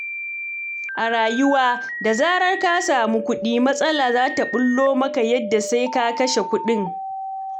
A rayuwa, da zarar ka samu kuɗi, matsala za ta ɓullo maka yadda sai ka kashe kuɗin.